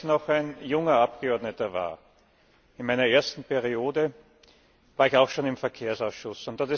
Als ich noch ein junger Abgeordneter war in meiner ersten Periode war ich auch schon im Verkehrsausschuss.